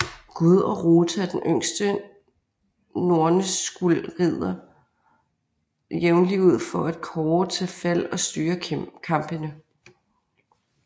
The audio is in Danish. Gud og Rota og den yngste Norne Skuld rider jævnlig ud for at kaare til Fald og styre Kampene